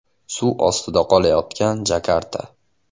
Suv ostida qolayotgan Jakarta.